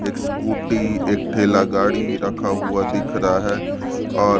एक स्कूटी एक ठेला गाड़ी रखा हुआ दिख रहा है और--